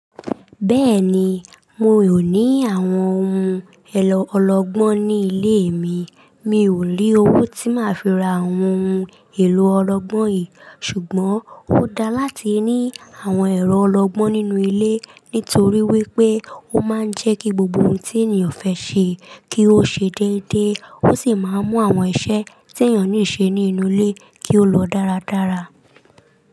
Bẹ́ẹ̀ni, mi ò ní àwọn ohun èlò ọlọgbọ́n ní ilé mi. Mi ò ní owó tí máa fi ra àwọn ohun èlò ọlọgbọ́n yìí. Ṣùgbọ́n, ó dáa láti ní àwọn ẹ̀rọ ọlọgbọ́n nínú ilé nítorí wípé ó máa ń jẹ́ kí gbogbo ohun tí ènìyàn fẹ́ ṣe kí ó ṣe déédéé, ó sì máa ń mú àwọn iṣẹ́ tí ènìyàn níṣe ní inú ilé kí ó lọ dáradára.